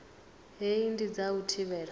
hei ndi dza u thivhela